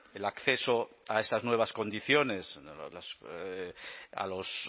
el acceso a esas nuevas condiciones a los